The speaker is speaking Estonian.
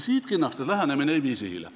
Siidkinnastes lähenemine ei vii sihile.